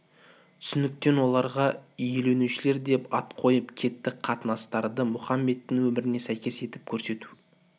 түсініктен оларға елуіншілер деп ат қойып кетті қатынастарды мұхаммедтің өміріне сәйкес етіп көрсету